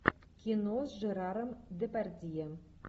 кино с жераром депардье